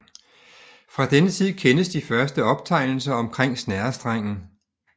Fra denne tid kendes de første optegnelser omkring snerrestrengen